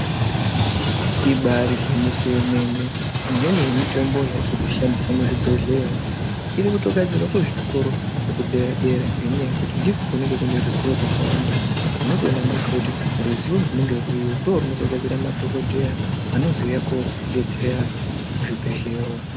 Ibari gwinyiso remene imweni yemitombo yatiri kushandisa muzvibhedhleya umo irikutogadzirwa kuzvikoro zvekudera-dera. Ngendaa yekuti ndiko kunenge kune ruzivo rwakawanda munotoona mega kuti ruzivo runenge ruriyo ndirwo runogadzira madhogodheya anozouye koodetsera antu muzvibhedhleya umo.